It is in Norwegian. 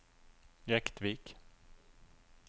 Jektvik